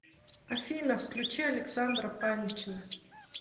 афина включи александра панчина